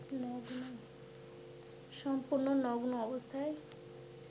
সম্পূর্ণ নগ্ন অবস্থায়